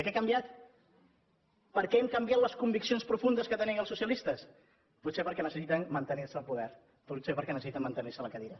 què ha canviat per què han canviat les conviccions profundes que tenien els socialistes potser perquè necessiten mantenir se al poder potser perquè necessiten mantenir se a la cadira